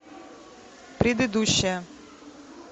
предыдущая